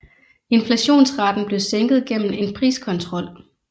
Inflationsraten blev sænket gennem en priskontrol